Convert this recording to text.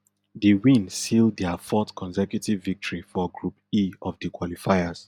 di win seal dia fourth consecutive victory for group e of di qualifiers